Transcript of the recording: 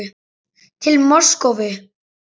Til Moskvu